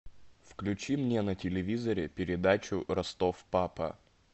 включи мне на телевизоре передачу ростов папа